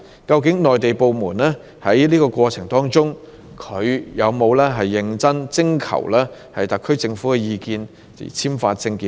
究竟內地部門在簽發證件的整個過程中，有否認真徵求特區政府的意見呢？